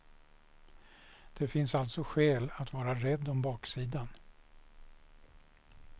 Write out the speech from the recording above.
Det finns alltså skäl att vara rädd om baksidan.